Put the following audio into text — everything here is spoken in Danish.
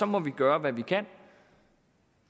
må vi gøre hvad vi kan